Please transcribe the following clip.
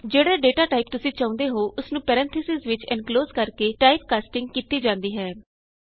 ਜਿਹੜਾ data type ਤੁਸੀਂ ਚਾਹੁੰਦੇ ਹੋ ਉਸਨੂੰ ਪੈਰੇਨਥੀਸਿਜ਼ ਵਿਚ ਐਨਕਲੋਜ਼ ਕਰ ਕੇ ਟਾਈਪਕਾਸਟਿੰਗ ਕੀਤੀ ਜਾਂਦੀ ਹੈ